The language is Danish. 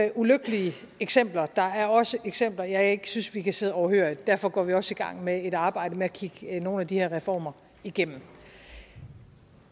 er ulykkelige eksempler der er også eksempler jeg ikke synes vi kan sidde overhørige og derfor går vi også i gang med et arbejde med at kigge nogle af de her reformer igennem